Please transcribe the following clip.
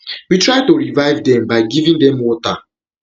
we try to revive dem by giving dem water